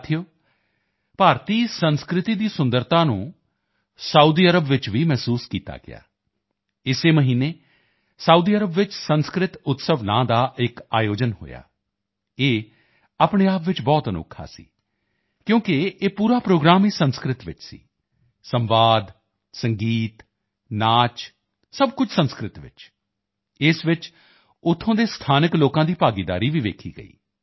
ਸਾਥੀਓ ਭਾਰਤੀ ਸੰਸਕ੍ਰਿਤੀ ਦੀ ਸੁੰਦਰਤਾ ਨੂੰ ਸਾਊਦੀ ਅਰਬ ਵਿੱਚ ਭੀ ਮਹਿਸੂਸ ਕੀਤਾ ਗਿਆ ਇਸੇ ਮਹੀਨੇ ਸਾਊਦੀ ਅਰਬ ਵਿੱਚ ਸੰਸਕ੍ਰਿਤ ਉਤਸਵ ਨਾਮ ਦਾ ਇੱਕ ਆਯੋਜਨ ਹੋਇਆ ਇਹ ਆਪਣੇ ਆਪ ਵਿੱਚ ਬਹੁਤ ਅਨੋਖਾ ਸੀ ਕਿਉਂਕਿ ਇਹ ਪੂਰਾ ਪ੍ਰੋਗਰਾਮ ਹੀ ਸੰਸਕ੍ਰਿਤ ਵਿੱਚ ਸੀ ਸੰਵਾਦ ਸੰਗੀਤ ਨਾਚ ਸਭ ਕੁਝ ਸੰਸਕ੍ਰਿਤੀ ਵਿੱਚ ਇਸ ਵਿੱਚ ਉੱਥੋਂ ਦੇ ਸਥਾਨਕ ਲੋਕਾਂ ਦੀ ਭਾਗੀਦਾਰੀ ਭੀ ਦੇਖੀ ਗਈ